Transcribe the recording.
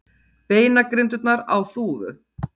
Beinagrindurnar á Þúfu.